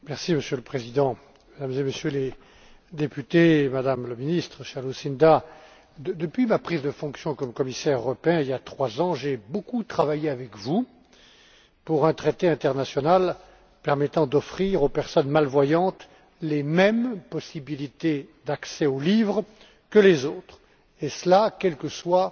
Monsieur le Président, Mesdames et Messieurs les députés, Madame la Ministre, chère Lucinda, depuis ma prise de fonction en tant que commissaire européen, il y a trois ans, j'ai beaucoup travaillé avec vous en vue d'élaborer un traité international permettant d'offrir aux personnes malvoyantes les mêmes possibilités d'accès aux livres que les autres et cela, quel que soit